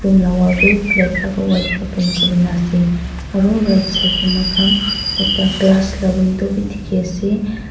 room la wall tu balck aru white pa paint kurina ase aro right side tae mokham ekta glass la window bi dikhiase.